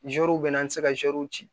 bɛ na an tɛ se ka ci